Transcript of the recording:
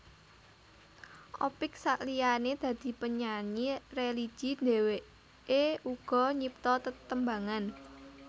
Opick saliyané dadi penyanyi religi dheweké uga nyipta tetembangan